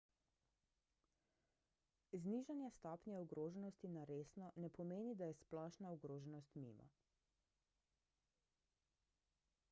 znižanje stopnje ogroženosti na resno ne pomeni da je splošna ogroženost mimo